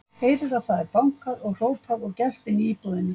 Heyrir að það er bankað og hrópað og gelt inni í íbúðinni.